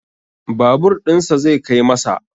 Babur ɗinsa zai kai masa